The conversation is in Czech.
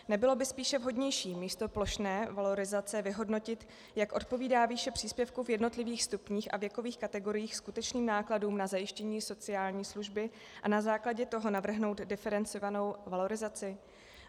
Nebylo by spíše vhodnější místo plošné valorizace vyhodnotit, jak odpovídá výše příspěvku v jednotlivých stupních a věkových kategoriích skutečným nákladům na zajištění sociální služby, a na základě toho navrhnout diferencovanou valorizaci?